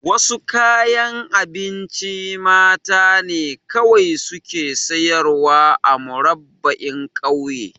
Wasu kayan abinci mata ne kawai suke sayarwa a Murabba'in ƙauye